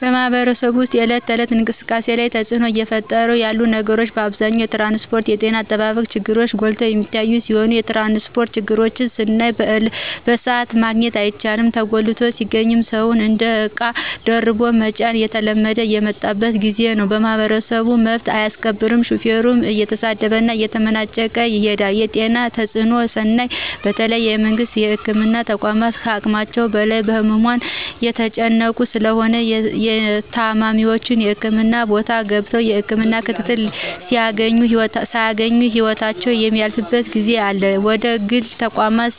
በማህበረሰቡ ወስጥ የእለት ተእለት እንቅስቃሴ ላይ ተጽእኖ እየፈጠሩ ያሉ ነገሮች በአብዛኛው የትራንስጶርትና የጤና አጠባበቅ ችግሮች ጎልተው የሚታዮ ሲሆን የትራንስጶርት ችግርን ስናይ በስአቱ ማግኘት አይቻልም ተጉላልቶ ሲገኝም ሰውን እንደ እቃ ደራርቦ መጫን እየተለመደ የመጣበት ጊዜ ነው። ማህበረሰቡ መብቱን አያስከብርም በሹፌር እየተሰደበና እየተመናጨቀ ይሄዳል የጤናን ተጽእኖ ስናይ በተለይ የመንግስት የህክምና ተቋማት ከሀቅማቸው በላይ በህሙማን የተጨናነቁ ስለሆነ ታማሚዎች የህክምና ቦታ ገብተው የህክምና ክትትል ሳያገኙ ህይወታቸው የሚያልፍበት ጊዜ አለ ወደግል ተቋማት